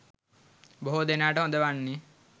බොහෝ දෙනාට හොඳ වන්නේ